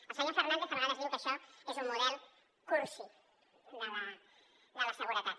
el senyor fernández a vegades diu que això és un model cursi de la seguretat